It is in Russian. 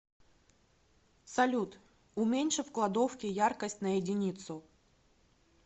салют уменьши в кладовке яркость на единицу